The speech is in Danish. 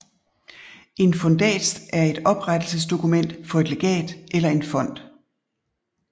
En fundats er et oprettelsesdokument for et legat eller en fond